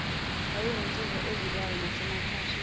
wayeyinsizwa evikayo nasemaphashini